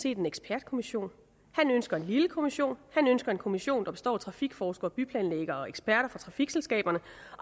en ekspertkommission han ønsker en lille kommission han ønsker en kommission der består af trafikforskere og byplanlæggere og eksperter fra trafikselskaberne